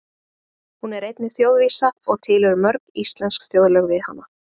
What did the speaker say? Hún er einnig þjóðvísa og til eru mörg íslensk þjóðlög við hana.